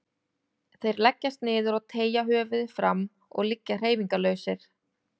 Þeir leggjast niður og teygja höfuðið fram og liggja hreyfingarlausir.